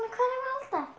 hvað þetta